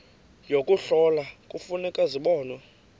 yokuhlola kufuneka zibonwe